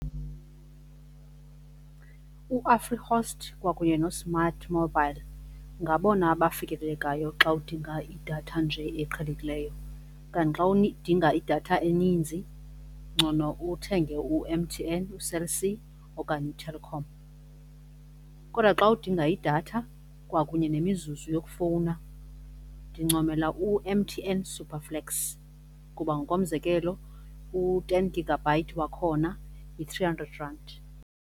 UAfrihost kwakunye noSmartMobile ngabona abafikelelekayo xa udinga idatha nje eqhelekileyo, kanti xa uyidinga idatha eninzi ngcono uthenge u-M_T_N uCell C okanye uTelkom. Kodwa xa udinga idatha kwakunye nemizuzu yokufowuna ndincomela u-M_T_N super flex kuba ngokomzekelo u-ten gigabyte wakhona yi-three hundred rand.